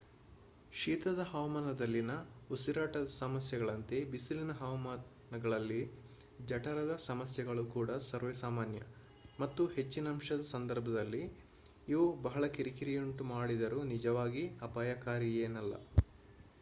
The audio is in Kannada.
ಶೀತದ ಹವಾಮಾನಗಳಲ್ಲಿನ ಉಸಿರಾಟದ ಸಮಸ್ಯೆಗಳಂತೆ ಬಿಸಿಲಿನ ಹವಾಮಾನಗಳಲ್ಲಿ ಜಠರದ ಸಮಸ್ಯೆಗಳು ಕೂಡ ಸರ್ವೇಸಾಮಾನ್ಯ ಮತ್ತು ಹೆಚ್ಚಿನಂಶದ ಸಂದರ್ಭಗಳಲ್ಲಿ ಇವು ಬಹಳ ಕಿರಿಕಿರಿಯುಂಟು ಮಾಡಿದರೂ ನಿಜವಾಗಿ ಅಪಾಯಕಾರಿಯೇನಲ್ಲ